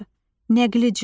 Nəqli cümlə.